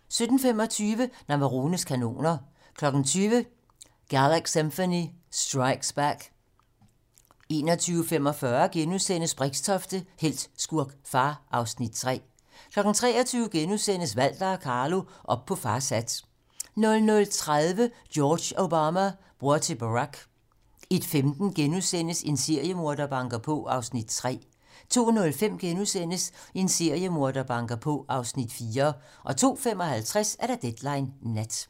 17:25: Navarones kanoner 20:00: Galaxymphony Strikes Back 21:45: Brixtofte - helt, skurk, far (Afs. 3)* 23:00: Walter og Carlo - op på fars hat * 00:30: George Obama - bror til Barack 01:15: En seriemorder banker på (Afs. 3)* 02:05: En seriemorder banker på (Afs. 4)* 02:55: Deadline nat